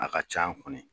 A ka c'an kɔnɔ